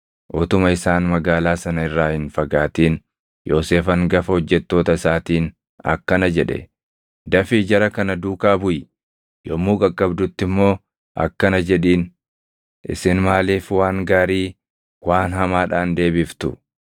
Utuma isaan magaalaa sana irraa hin fagaatin Yoosef hangafa hojjettoota isaatiin akkana jedhe; “Dafii jara kana duukaa buʼi; yommuu qaqqabdutti immoo akkana jedhiin; ‘Isin maaliif waan gaarii waan hamaadhaan deebiftu?